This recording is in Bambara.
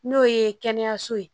N'o ye kɛnɛyaso ye